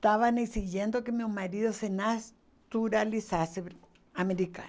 estavam exigindo que meu marido se naturalizasse americano.